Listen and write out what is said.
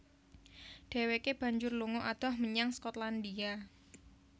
Dheweke banjur lunga adoh menyang Skotlandia